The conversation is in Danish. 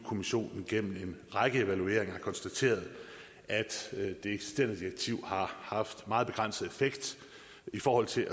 kommissionen gennem en række evalueringer har konstateret at det eksisterende direktiv har haft meget begrænset effekt i forhold til